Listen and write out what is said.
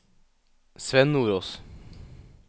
Sven Nordås